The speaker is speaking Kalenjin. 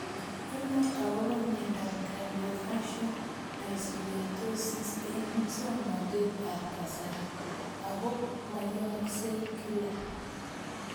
Inae akopo miondop Craniofacial dyssynostosis eng' muswog'natet ab kasari ako mayaksei kila